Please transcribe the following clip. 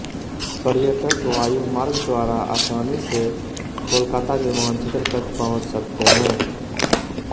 पर्यटक वायुमार्ग द्वारा आसानी से कोलकाता विमानक्षेत्र तक पहुंच सकते हैं